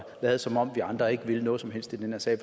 lade som om vi andre ikke vil noget som helst i den her sag